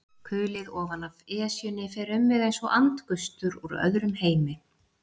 Kulið ofanaf Esjunni fer um mig einsog andgustur úr öðrum heimi.